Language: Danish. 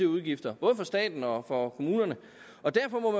udgifter både for staten og for kommunerne derfor må